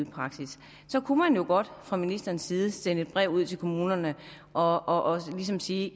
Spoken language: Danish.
praksis så kunne man jo godt fra ministerens side sende et brev ud til kommunerne og ligesom sige